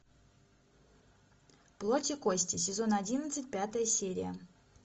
плоть и кости сезон одиннадцать пятая серия